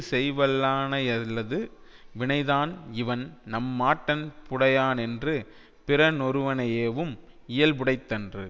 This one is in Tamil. செய்யவல்லானையல்லது வினைதான் இவன் நம்மாட்டன்புடையானென்று பிறனொருவனையேவும் இயல்புடைத்தன்று